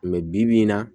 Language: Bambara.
mɛ bibi in na